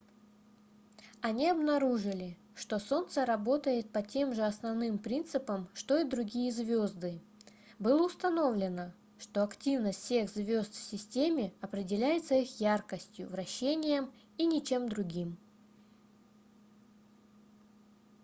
они обнаружили что солнце работает по тем же основным принципам что и другие звёзды было установлено что активность всех звёзд в системе определяется их яркостью вращением и ничем другим